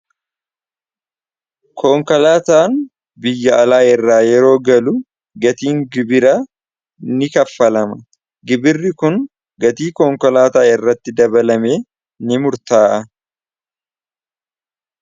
Koonkolaataan biyya alaa irraa yeroo galu gatiin gibira ni kaffalama. gibirri kun gatii koonkolaataa irratti dabalame ni murtaa'a.